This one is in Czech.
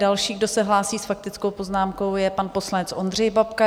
Další, kdo se hlásí s faktickou poznámkou, je pan poslanec Ondřej Babka.